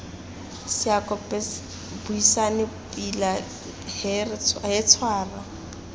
seako buisane pila he tshwara